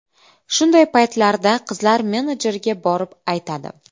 Shunday paytlarda qizlar menejerga borib aytadi.